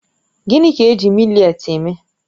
Gịnị ka-eji mị́letí eme?